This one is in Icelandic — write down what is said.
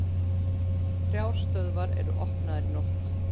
Þrjár stöðvar voru opnaðar í nótt